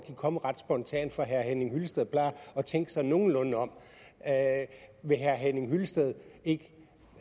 kommet ret spontant for herre henning hyllested plejer at tænke sig nogenlunde om vil herre henning hyllested ikke